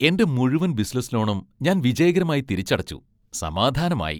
എന്റെ മുഴുവൻ ബിസിനസ്സ് ലോണും ഞാൻ വിജയകരമായി തിരിച്ചടച്ചു, സമാധാനമായി.